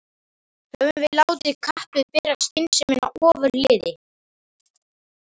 Höfum við látið kappið bera skynsemina ofurliði?